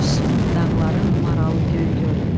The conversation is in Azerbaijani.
Uyusun dağların maralı göy gül.